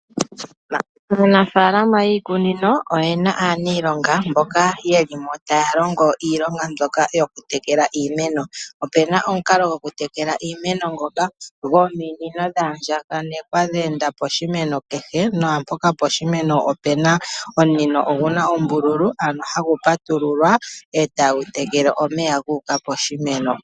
Aanafaalama yiikunino oye na aaniilonga mboka yeli mo taya longo iilonga mbyoka yokutekela iimeno. Opuna omukalo gokutekela iimeno ngoka gominino dha andjaganekwa, dhe enda poshimeno kehe, naampoka poshimeno opu na omunino gu na ombululu ano hagu patululwa e tagu tekele omeya gu uka koshimeno.